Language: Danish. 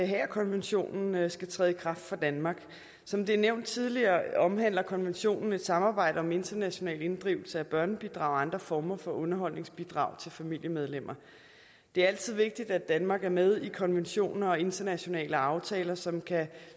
haagerkonventionen skal træde i kraft for danmark som det er nævnt tidligere omhandler konventionen et samarbejde om international inddrivelse af børnebidrag og andre former for underholdsbidrag til familiemedlemmer det er altid vigtigt at danmark er med i konventioner og internationale aftaler som kan